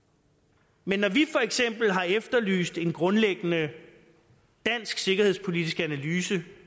men når vi for eksempel har efterlyst en grundlæggende dansk sikkerhedspolitisk analyse